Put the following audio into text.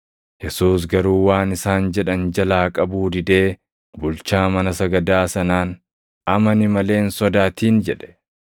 Yesuus garuu waan isaan jedhan jalaa qabuu didee bulchaa mana sagadaa sanaan, “Amani malee hin sodaatin!” jedhe.